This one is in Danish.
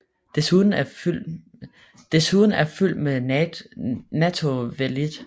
Desuden er fyld med natto vellidt